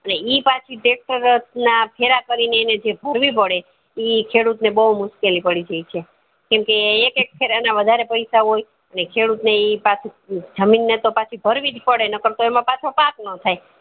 એટલે એ પાછુ tractor ના ફેર કરીને જે ભરવી પડે ઈ ખેડૂત ને બૌ મુશ્કેલી પડી જાય છે કેમ કે એક એક ફેરે એના વધારે પય્સા હોય એટલે એ ખેડૂત જમીન ને તો પછી ભાર્વીજ પડે નકર તો પાછો પાક નો થાય